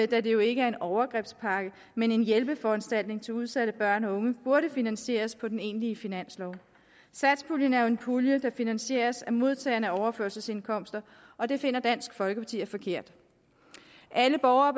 da det jo ikke er en overgrebspakke men en hjælpeforanstaltning til udsatte børn og unge burde finansieres på den egentlige finanslov satspuljen er jo en pulje der finansieres af modtagerne af overførselsindkomster og det finder dansk folkeparti er forkert alle borgere